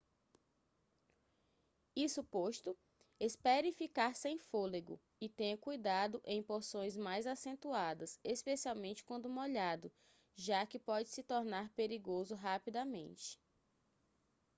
isso posto espere ficar sem fôlego e tenha cuidado em porções mais acentuadas especialmente quando molhado já que pode se tornar perigoso rapidamente